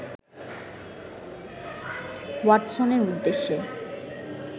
ওয়াটসনের উদ্দেশ্যে